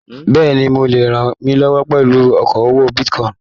Bẹ́ẹ̀ni, mo le rànmílọwọ́ pẹlú okoowó bitíkọ̀in.